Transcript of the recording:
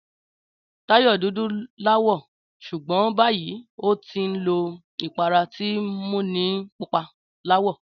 Táyò dúdú láwọ̀, ṣugbọn bayii ọtí nlo ìpara tin múni pupa láwọ̀